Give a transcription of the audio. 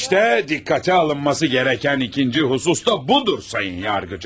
İşte dikkate alınması gereken ikinci husus da budur, Sayın Yargıcım.